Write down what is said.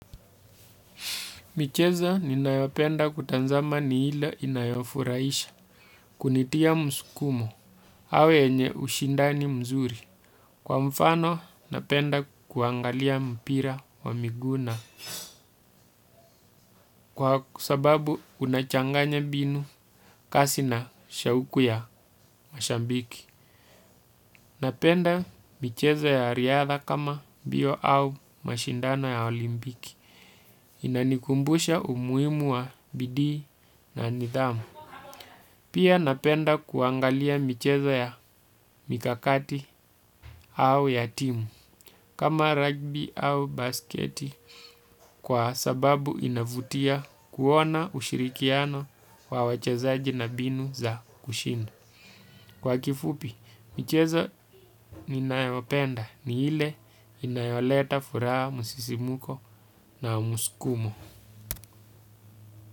Michezo ninayopenda kutazama ni hile inayofurahisha kunitia msukumo au yenye ushindani mzuri. Kwa mfano napenda kuangalia mpira wa miguu na kwa sababu unachanganya mbinu kasi na shauku ya mashabiki. Napenda michezo ya riadha kama mbio au mashindano ya olimpiki. Inanikumbusha umuhimu wa bidii na nidhamu. Pia napenda kuangalia michezo ya mikakati au ya timu kama basketi au rugby kwa sababu inavutia kuona ushirikiano wa wachezaji na mbinu za kushinda kwa kifupi michezo ninayopenda ni ile inayoleta furaha msisimko na msukumo.